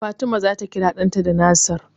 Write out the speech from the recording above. Fatima zata kira ɗanta da Nasir.